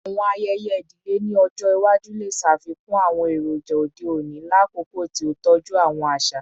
Awọn ayẹyẹ idile ni ọjọ iwaju le ṣafikun awọn eroja ode oni lakoko ti o tọju awọn aṣa